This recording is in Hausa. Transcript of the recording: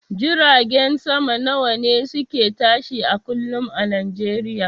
Jiragen sama nawane suke tashi a kullum a nijeriya?